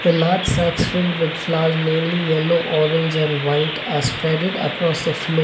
Large sacks filled with flowers mainly yellow orange and white are spreaded across the floor.